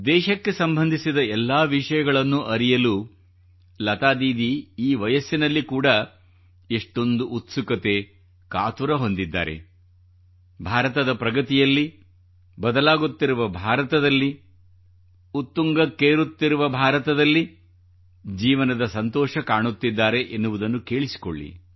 ದೇಶಕ್ಕೆ ಸಂಬಂಧಿಸಿದ ಎಲ್ಲಾ ವಿಷಯಗಳನ್ನು ಅರಿಯಲು ಲತಾ ದೀದಿ ಈ ವಯಸ್ಸಿನಲ್ಲಿ ಕೂಡಾ ಎಷ್ಟೊಂದು ಉತ್ಸುಕತೆ ಕಾತುರ ಹೊಂದಿದ್ದಾರೆ ಭಾರತದ ಪ್ರಗತಿಯಲ್ಲಿ ಬದಲಾಗುತ್ತಿರುವ ಭಾರತದಲ್ಲಿ ಉತ್ತುಂಗಕ್ಕೇರುತ್ತಿರುವ ಭಾರತದಲ್ಲಿ ಜೀವನದ ಸಂತೋಷ ಕಾಣುತ್ತಿದ್ದಾರೆ ಎನ್ನುವುದನ್ನು ಕೇಳಿಸಿಕೊಳ್ಳಿ